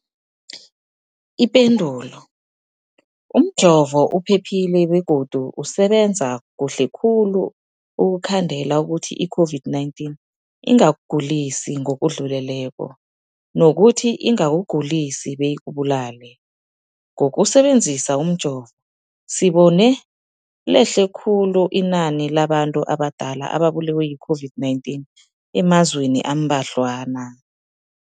Ipendulo, umjovo uphephile begodu usebenza kuhle khulu ukukhandela ukuthi i-COVID-19 ingakugulisi ngokudluleleko, nokuthi ingakugulisi beyikubulale. Ngokusebe nzisa umjovo, sibone lehle khulu inani labantu abadala ababulewe yi-COVID-19 emazweni ambadlwana.